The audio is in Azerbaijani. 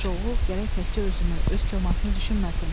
Yaxşı oğul gərək təkcə özünü, öz komasını düşünməsin.